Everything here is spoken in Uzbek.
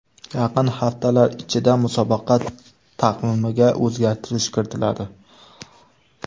Yaqin haftalar ichida musobaqa taqvimiga o‘zgartirish kiritiladi .